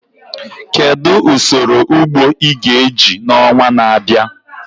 Kedu usoro ugbo ị ga-eji n'ọnwa na-abịa?